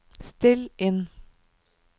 still inn